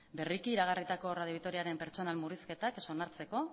berriki iragarritako radio vitoriaren pertsonen murrizketa ez onartzeko